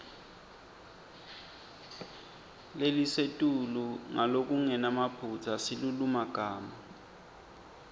lelisetulu ngalokungenamaphutsa silulumagama